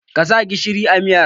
Ka sa gishiri a miyar?